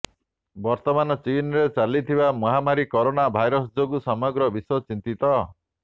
ବର୍ତ୍ତମାନ ଚୀନରେ ଚାଲିଥିବା ମହାମାରୀ କରୋନା ଭାଇରସ ଯୋଗୁଁ ସମଗ୍ର ବିଶ୍ୱ ଚିନ୍ତିତ